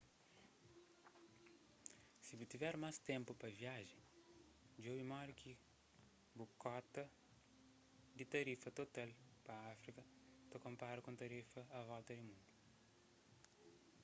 si bu tiver más ténpu pa viajen djobe modi ki bu kota di tarifa total pa áfrika ta konpara ku un tarifa a volta di mundu